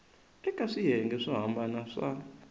eka swiyenge swo hambana swa